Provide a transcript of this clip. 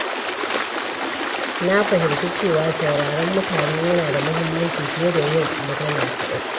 Na fahimci cewa sauraron mutane yana da mahimmanci fiye da yin magana kaɗai.